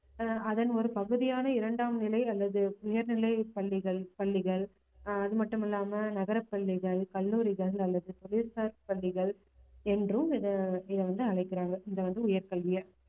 ஆஹ் அதன் ஒரு பகுதியான இரண்டாம் நிலை அல்லது உயர்நிலைப் பள்ளிகள் பள்ளிகள் அஹ் அதுமட்டுமில்லாம நகரப் பள்ளிகள் கல்லூரிகள் அல்லது புவிசார் பள்ளிகள் என்றும் இத இத வந்து அழைக்கிறாங்க இது வந்து உயர்கல்வியை